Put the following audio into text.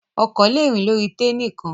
Ọkọ̀ le rìn lórí táy nìkan.